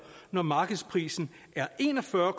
når markedsprisen er en og fyrre